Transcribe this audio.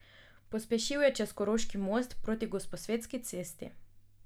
Pospešil je čez Koroški most proti Gosposvetski cesti.